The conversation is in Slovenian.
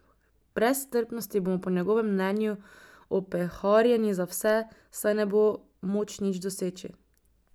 Brez strpnosti bomo po njegovem mnenju opeharjeni za vse, saj ne bo moč nič doseči.